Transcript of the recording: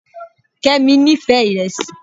Kemi nífẹ̀ẹ́ iresi